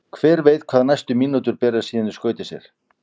Hver veit hvað næstu mínútur bera síðan í skauti sér?